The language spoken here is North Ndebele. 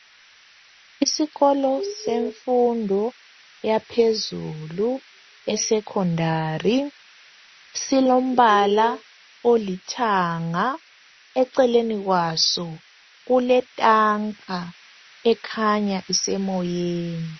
isikolo semfundo yaphezulu e secondary silombala olithanga eceleni kwaso kuletanga ekhanya isemoyeni